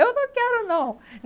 Eu não quero, não.